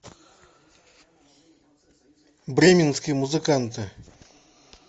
бременские музыканты